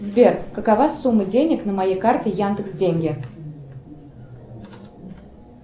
сбер какова сумма денег на моей карте яндекс деньги